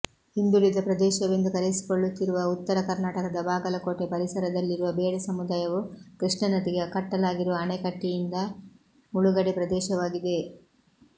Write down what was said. ಹಿಂದುಳಿದ ಪ್ರದೇಶವೆಂದು ಕರೆಯಿಸಿಕೊಳ್ಳುತ್ತಿರುವ ಉತ್ತರ ಕರ್ನಾಟಕದ ಬಾಗಲಕೋಟೆ ಪರಿಸರದಲ್ಲಿರುವ ಬೇಡ ಸಮುದಾಯವು ಕೃಷ್ಣ ನದಿಗೆ ಕಟ್ಟಲಾಗಿರುವ ಅಣೆಕಟ್ಟೆಯಿಂದ ಮುಳುಗಡೆ ಪ್ರದೇಶವಾಗಿದೆ